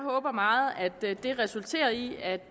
håber meget at det resulterer i at